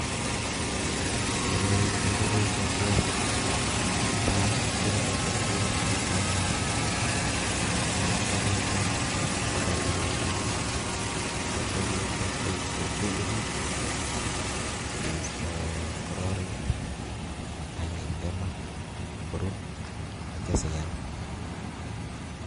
Koroi kechoben ing'okiet, netai kebore ing'okiet ketile katit akityo kinde kosaita korotik, akityo kinde beek chebelebiik sikeisto kororik ak kinde maa korur akityo sikeam.